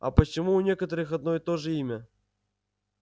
а почему у некоторых одно и то же имя